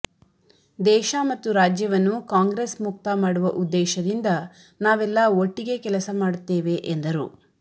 ದೇಶ ಮತ್ತು ರಾಜ್ಯವನ್ನು ಕಾಂಗ್ರೆಸ್ ಮುಕ್ತ ಮಾಡುವ ಉದ್ದೇಶದಿಂದ ನಾವೆಲ್ಲ ಒಟ್ಟಿಗೆ ಕೆಲಸ ಮಾಡುತ್ತೇವೆ ಎಂದರು